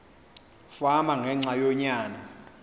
fama ngenxa yonyana